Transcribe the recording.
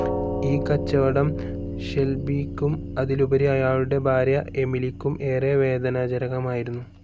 ഈ കച്ചവടം ഷെൽബിയ്ക്കും, അതിലുപരി അയാളുടെ ഭാര്യ എമിലിക്കും ഏറെ വേദനാജനകമായിരുന്നു.